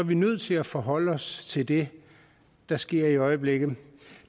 vi nødt til at forholde os til det der sker i øjeblikket